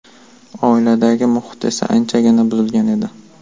Oiladagi muhit esa anchagina buzilgan edi.